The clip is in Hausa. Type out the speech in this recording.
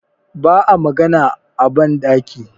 ba a magana a bandaki